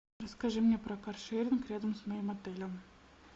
расскажи мне про каршеринг рядом с моим отелем